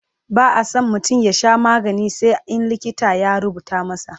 ba'a San mutum ya Sha magani sai in likita ya rubuta masa